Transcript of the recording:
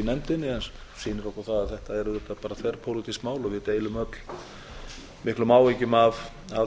í nefndinni sem sýnir okkur það að þetta er auðvitað bara þverpólitískt mál og við deilum öll miklum áhyggjum af